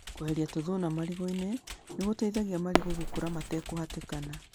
Kweheria tũthuna marigũinĩ nĩ gũteithagia marigũ gũkũra matekũhatĩkana.